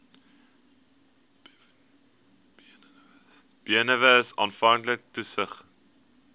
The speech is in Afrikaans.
benewens aanvanklike toetsings